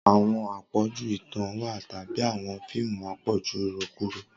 Awọn apọju itan wa tabi awọn fiimu apọju irokuro.